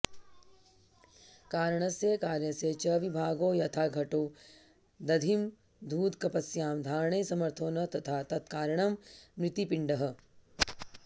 कारणस्य कार्यस्य च विभागो यथा घटो दधिमधूदकपयसां धारणे समर्थो न तथा तक्तारणं मृत्पिण्डः